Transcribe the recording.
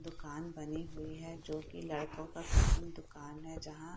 दुकान बनी हुई है जो कि लड़कों का कटिंग दुकान है जहाँ --